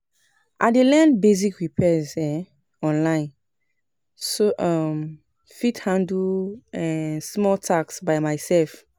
I dey learn basic repairs um online so I um fit handle um small tasks by myself.